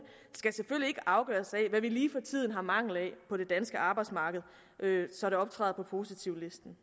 skal selvfølgelig ikke afgøres af hvad vi lige for tiden mangler på det danske arbejdsmarked så det optræder på positivlisten